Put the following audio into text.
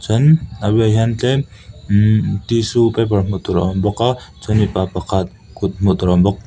ten a bulah hian tlem imm tissue paper hmuh tur a awm bawk a chuan mipa pakhat kut hmuh tur a awm bawk.